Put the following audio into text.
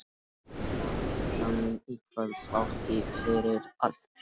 Kjartani í kvöld þrátt fyrir allt.